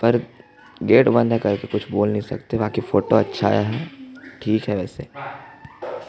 पर गेट बंद है काहे कि कुछ बोल नहीं सकते बाकि फोटो अच्छा आया है ठीक है वैसे --